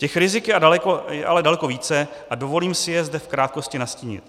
Těch rizik je ale daleko více a dovolím si je zde v krátkosti nastínit.